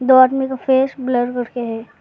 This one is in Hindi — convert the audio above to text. आदमी का फेस ब्लर करके है।